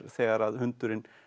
þegar hundurinn